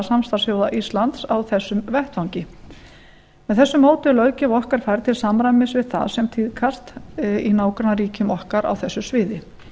samstarfsþjóða íslands á þessum vettvangi með þessu móti er löggjöf okkar færð til samræmis við það sem tíðkast í nágrannaríkjum okkar á þessu sviði